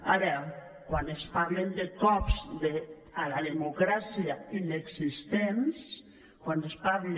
ara quan es parla de cops a la democràcia inexistents quan es parla